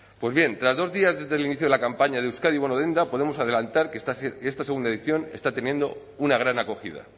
pues bien tras dos días desde el inicio de la campaña de euskadi bono denda podemos adelantar que esta segunda edición está teniendo una gran acogida